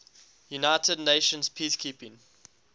united nations peacekeeping